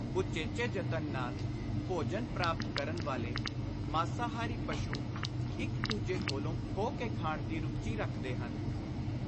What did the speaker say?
ਉਚੇਚੇ ਯਤਨ ਨਾਲ ਭੋਜਨ ਪ੍ਰਾਪਤ ਕਰਨ ਵਾਲੇ ਮਾਸਾਹਾਰੀ ਪਸ਼ੂ ਇਕ ਦੂਜੇ ਕੋਲੋਂ ਖੋਹ ਕੇ ਖਾਣ ਦੀ ਰੁਚੀ ਰੱਖਦੇ ਹਨ।